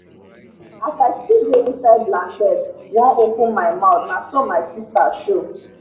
as i still dey inside blanket wan open my mouth naso my sista show